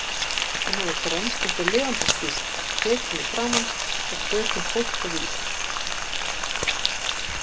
Hún hafði grennst einhver lifandis býsn, tekin í framan og fötin hólkvíð.